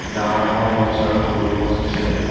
ডাঙৰ ডাঙৰ গছ আৰু সৰু গছ আছে।